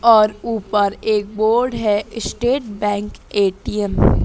और ऊपर एक बोर्ड है स्टेट बैंक ए_टी_एम --